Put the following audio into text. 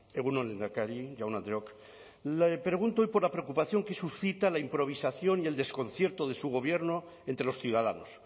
egun on lehendakari jaun andreok le pregunto hoy por la preocupación que suscita la improvisación y el desconcierto de su gobierno entre los ciudadanos